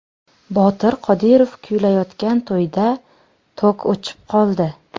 Botir Qodirov kuylayotgan to‘yda tok o‘chib qoldi.